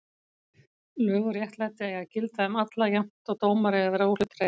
Lög og réttlæti eiga að gilda um alla jafnt og dómar eiga að vera óhlutdrægir.